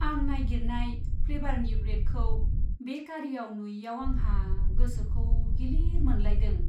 आं नागिरनाय फ्लेभारनि ब्रेडखौ बे बेकारियाव नुयैआव आंहा गोसोखौ गिलिर मोनलायदों।